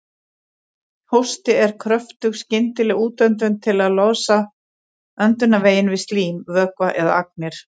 Hósti er kröftug skyndileg útöndun til að losa öndunarveginn við slím, vökva eða agnir.